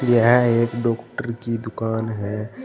यह एक डॉक्टर की दुकान है।